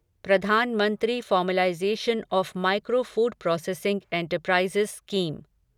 Pradhan Mantri formalization of micro food processing enterprises scheme